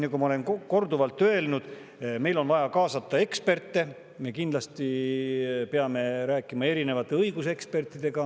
Nagu ma olen korduvalt öelnud, meil on vaja kaasata eksperte, me peame kindlasti rääkima erinevate õigusekspertidega.